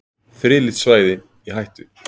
Friðlýst svæði í hættu